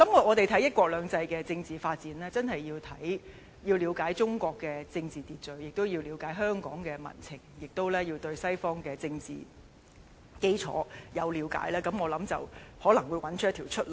我們看"一國兩制"的政治發展，確實要了解中國政治秩序，亦要了解香港民情及西方政治基礎，我相信這樣才可能找到出路。